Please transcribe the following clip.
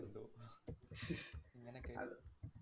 എന്തോ ഇങ്ങനെ കേട്ടു.